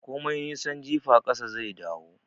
Komai nisan jifa ƙasa zai dawo